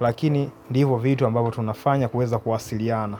Lakini ndivo vitu ambavyo tunafanya kuweza kuwasiliana.